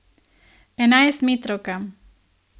Enajstmetrovka.